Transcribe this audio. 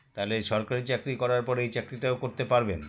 তালে সরকারি চাকরি করার পর এই চাকরিটাও করতে পারবেন